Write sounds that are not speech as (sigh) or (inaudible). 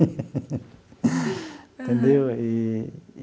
(laughs) Entendeu? Eee.